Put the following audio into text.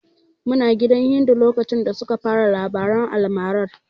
Muna gidan Hindu lokacin da suka fara labaran almarar.